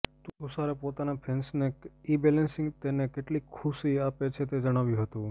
તુષારે પોતાના ફેન્સને ઇબેલેન્સિંગ તેને કેટલી ખુશી આપે છે તે જણાવ્યું હતું